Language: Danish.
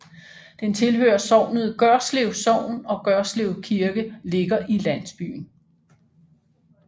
Den tilhører sognet Gørslev Sogn og Gørslev Kirke ligger i landsbyen